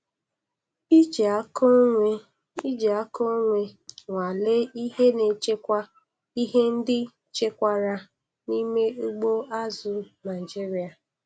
Iji aka onwe Iji aka onwe nwalee ihe na echekwa ihe ndị echekwara n'ime ugbo azụ̀ Naịjiria.